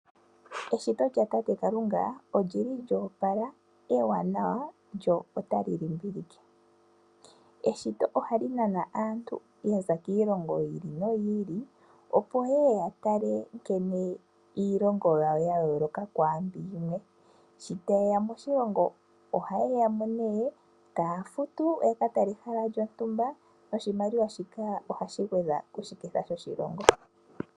Eshito lyatate Kalunga olyili lyoopala, ewaanawa, lyo otali limbililike. Eshito ohali nana aantu yaza kiilongo yi ili noyi ili, opo yeye ya tale nkene iilongo yawo ya yooloka kwaambika yimwe, sho taye ya moshilongo, ohaye ya nee taya futu ya ka tale ehala lyontumba noshimaliwa shika ohashi gwedha koshiketha shoshilongo.